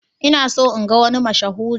Ina so in ga wani mashahuri.